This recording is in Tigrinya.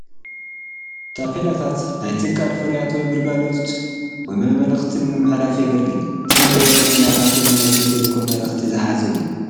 ታፔላታት ናይ ትካል ፍርያት ወይ ግልጋሎት ወይ መልእኽቲ ንምምሕልላፍ የግልግል፡፡ እቲ ንሪኦ ዘለና ታፔላ ናይ ኢትዮ ቴለኮም መልእኽቲ ዝሓዘ እዩ፡፡